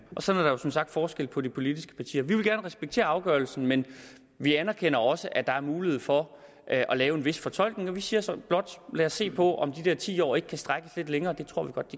sådan er der som sagt forskel på de politiske partier vi vil gerne respektere afgørelsen men vi anerkender også at der er mulighed for at lave en vis fortolkning og vi siger så blot lad os se på om de der ti år ikke kan strækkes lidt længere